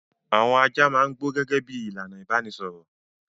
Àwọn ajá máa ń gbó gẹ́gẹ́ bí i ìlànà ìbanisọ̀rọ̀.